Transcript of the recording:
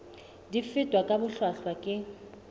di fetwa ka bohlwahlwa ke